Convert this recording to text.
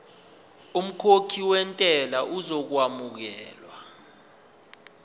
umkhokhi wentela uzokwamukelwa